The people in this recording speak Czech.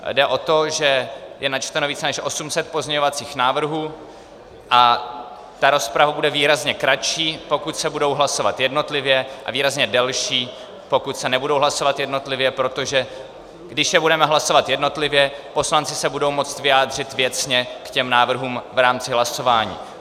Jde o to, že je načteno více než 800 pozměňovacích návrhů a ta rozprava bude výrazně kratší, pokud se budou hlasovat jednotlivě, a výrazně delší, pokud se nebudou hlasovat jednotlivě, protože když je budeme hlasovat jednotlivě, poslanci se budou moci vyjádřit věcně k těm návrhům v rámci hlasování.